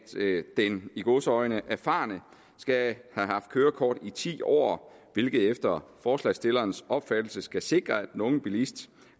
den i gåseøjne erfarne skal have haft kørekort i ti år hvilket efter forslagsstillernes opfattelse skal sikre at den unge bilist